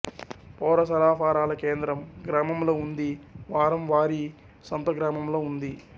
పౌర సరఫరాల కేంద్రం గ్రామంలో ఉంది వారం వారీ సంత గ్రామంలో ఉంది